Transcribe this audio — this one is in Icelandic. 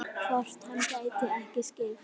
Hvort hann gæti ekki skipt?